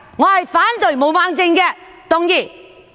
我反對毛孟靜議員動議的議案。